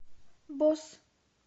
босс